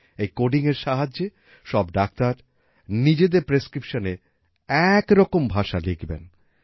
এই codingএর সাহায্যে সব ডাক্তার নিজেদের prescriptionএ একরকম ভাষা লিখবেন